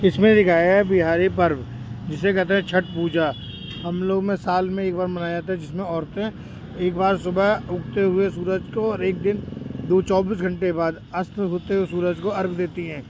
इसमें दिखाया है बिहारी पर्व जिसे कहते है छठ पूजा हम लोग में साल में एक बार मनाया जाता है जिसमें औरतें एक बार सुबह उगते हुए सूरज को और एक दिन दो चौबीस घंटे बाद अस्त होते हुए सूरज को अर्ग देती हैं।